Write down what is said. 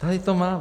Tady to mám.